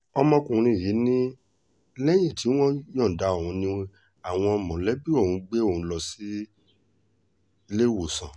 ọkùnrin yìí ni lẹ́yìn tí wọ́n yọ̀ǹda òun ni àwọn mọ̀lẹ́bí òun gbé òun lọ síléèwọ̀sán